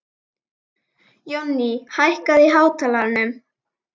Jónný, hækkaðu í hátalaranum.